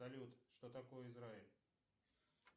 салют что такое израиль